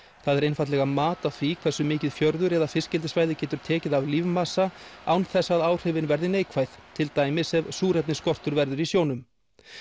það er einfaldlega mat á því hversu mikið fjörður eða fiskeldissvæði getur tekið af lífmassa án þess að áhrifin verði neikvæð til dæmis ef súrefnisskortur verður í sjónum